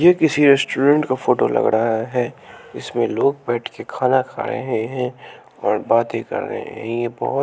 ये किसी रेस्टोरेंट का फोटो लग रहा है इसमें लोग बैठ के खाना खा रहे हैं और बातें कर रहे हैं ये बहुत--